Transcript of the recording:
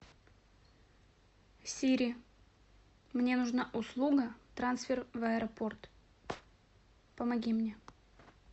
сири мне нужна услуга трансфер в аэропорт помоги мне